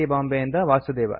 ಬಾಂಬೆ ಇಂದ ವಾಸುದೇವ